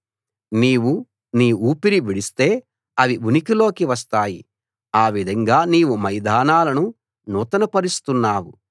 నీవు నీ ఊపిరి విడిస్తే అవి ఉనికిలోకి వస్తాయి ఆ విధంగా నీవు మైదానాలను నూతనపరుస్తున్నావు